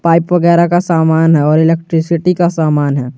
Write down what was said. Pipe वगैरा का सामान है और इलेक्ट्रिसिटी का सामान है।